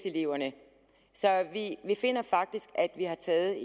eleverne så vi finder faktisk at vi har taget